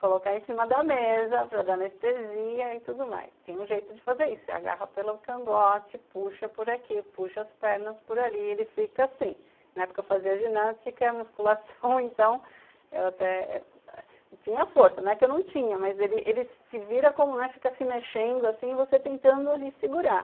colocar em cima da mesa para dar anestesia e tudo mais tem um jeito de fazer isso, você agarra pelo cangote, puxa por aqui, puxa as pernas por ali e ele fica assim na época eu fazia ginástica e musculação, então eu até tinha força, não é que eu não tinha, mas ele ele se vira como, fica se mexendo assim e você tentando ali segurar